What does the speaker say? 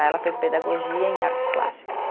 Ela fez pedagogia em artes plásticas.